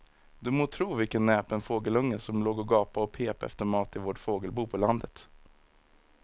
Du må tro vilken näpen fågelunge som låg och gapade och pep efter mat i vårt fågelbo på landet.